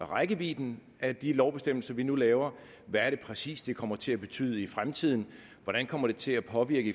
om rækkevidden af de lovbestemmelser vi nu laver hvad er det præcis det kommer til betyde i fremtiden hvordan kommer det til at påvirke